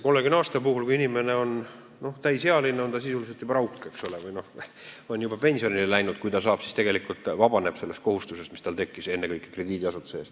Kui jääb kehtima 30 aastat, siis inimene on sisuliselt juba rauk või lihtsalt pensionile läinud, kui ta tegelikult vabaneb sellest kohustusest, mis tal tekkis, ennekõike krediidiasutuse ees.